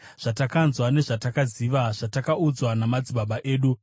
zvatakanzwa nezvatakaziva, zvatakaudzwa namadzibaba edu.